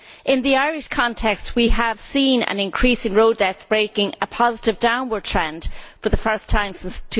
In the Irish context, we have seen an increase in road deaths, breaking a positive downward trend for the first time since